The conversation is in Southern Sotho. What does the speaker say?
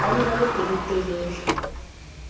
ba ne ba le pelotelele